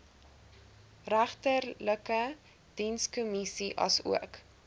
regterlike dienskommissie asook